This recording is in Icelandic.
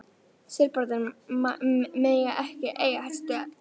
Serbarnir mega ekki eiga þessa dögg!